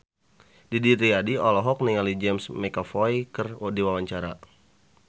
Didi Riyadi olohok ningali James McAvoy keur diwawancara